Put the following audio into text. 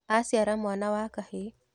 Aciara mwana wa kahĩĩ.